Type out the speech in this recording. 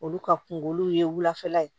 Olu ka kunkolo ye wulafɛla ye